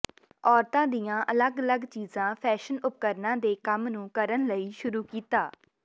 ਔਰਤਾਂ ਦੀਆਂ ਅਲੱਗ ਅਲੱਗ ਚੀਜ਼ਾਂ ਫੈਸ਼ਨ ਉਪਕਰਣਾਂ ਦੇ ਕੰਮ ਨੂੰ ਕਰਨ ਲਈ ਸ਼ੁਰੂ ਕੀਤਾ